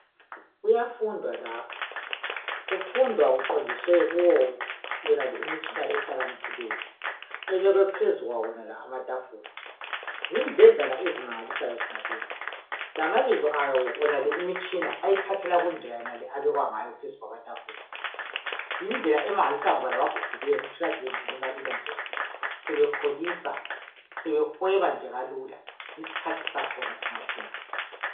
Kuyafundwa lapha, kufundwa kuqondiswe kuyoyonale imitshina ehlakaniphileyo ebekwe phezu kwawonala amatafula. Zindledlana eziqakathekileyo zomalezi. Amabizo ayilimitshina athathelwa kundlela yenale ebekwe ngayo phezu kwamatafula. Yindlela emangalisayo ngoba labagugileyo uthola sebengene kalula sebekholisa sebehweba nje kalula. Yisikhathu sakhona kanti singathini